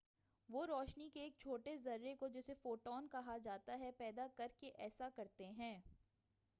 وہ روشنی کے ایک چھوٹے ذرے کو جسے"فوٹون کہا جاتا ہے، پیدا کر کے ایسا کرتے ہیں۔